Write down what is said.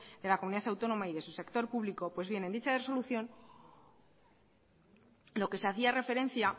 de la comunidad autónoma y de su sector público pues bien en dicho resolución lo que se hacía referencia